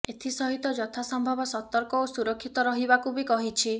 ଏଥିସହିତ ଯଥାସମ୍ଭବ ସତର୍କ ଓ ସୁରକ୍ଷିତ ରହିବାକୁ ବି କହିଛି